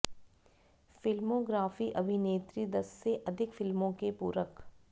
filmography अभिनेत्री दस से अधिक फिल्मों के पूरक